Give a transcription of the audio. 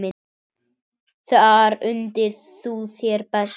Þar undir þú þér best.